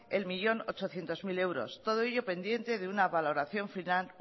un millón ochocientos mil euros todo ello pendiente de una valoración final